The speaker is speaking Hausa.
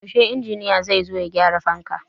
Yaushe injiniya zai zo ya gyara fanka?